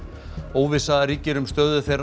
óvissa ríkir um stöðu þeirra